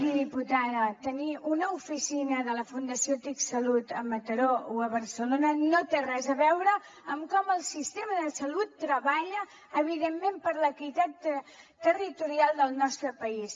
miri diputada tenir una oficina de la fundació tic salut a mataró o a barcelona no té res a veure amb com el sistema de salut treballa evidentment per l’equitat territorial del nostre país